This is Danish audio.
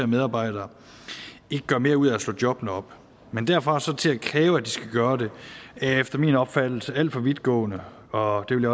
medarbejdere ikke gør mere ud af at slå jobbene op men derfra og så til at kræve at de skal gøre det er efter min opfattelse alt for vidtgående og det vil